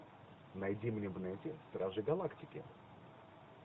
найди мне в нете стражи галактики